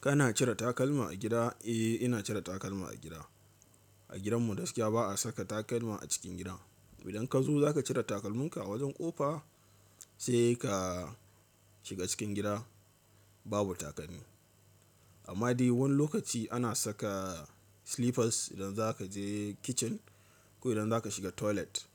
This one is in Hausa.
Kana cire takalma a gida? Eh ina cire takalma a gida. A gidan mu da gaskiya ba a saka takalma a cikin gida. Idan ka zo za ka cire takalminka a wajen ƙofa sai ka shiga cikin gida babu takalmi. Amma dai wani lokaci ana saka slippers idan za ka je kitchen ko idan za ka shiga toilet.